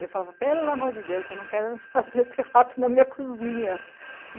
Eu falava, pelo amor de Deus, eu não quero fazer esse rato na minha cozinha.